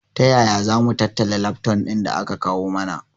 Taya zamu tattala lafton ɗin da aka kawu mana?